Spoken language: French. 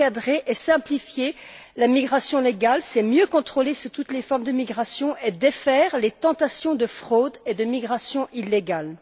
Encadrer et simplifier la migration légale, c'est mieux contrôler toutes les formes de migration et défaire les tentations de fraude et de migration illégale.